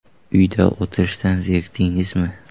Uyda o‘tirishdan zerikdingizmi?